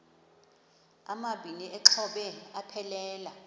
amabini exhobe aphelela